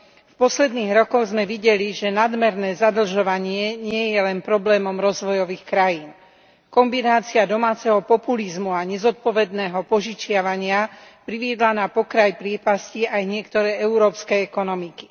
V posledných rokoch sme videli, že nadmerné zadlžovanie nie je len problémom rozvojových krajín. Kombinácia domáceho populizmu a nezodpovedného požičiavania priviedla na pokraj priepasti aj niektoré európske ekonomiky.